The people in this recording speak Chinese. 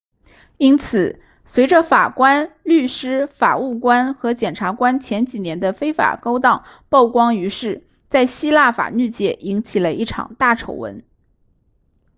因此随着法官律师法务官和检察官前几年的非法勾当曝光于世在希腊法律界引发了一场大丑闻